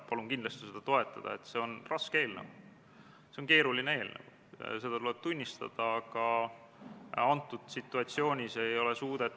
Käesoleva aasta 5. novembril toimus riigikaitse- ja väliskomisjoni ühine väljasõiduistung Kaitseväe peastaapi, kus Kaitseväe esindajad andsid ülevaate ka missioonide piirkondades toimuvast.